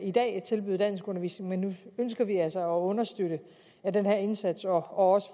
i dag kan tilbyde danskundervisning men nu ønsker vi altså at understøtte den her indsats og også